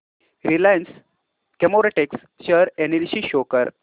Reliance Chemotex share analysis show कर